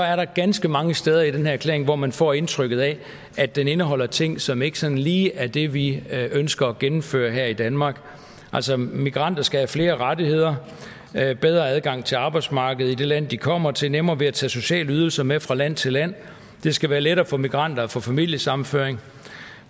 er der ganske mange steder i den her erklæring hvor man får indtrykket af at den indeholder ting som ikke sådan lige er det vi ønsker at gennemføre her i danmark altså migranter skal have flere rettigheder bedre adgang til arbejdsmarkedet i det land de kommer til nemmere ved at tage sociale ydelser med fra land til land det skal være lettere for migranter at få familiesammenføring